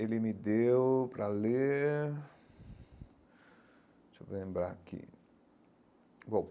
Ele me deu para ler... Deixe-me lembrar aqui bom.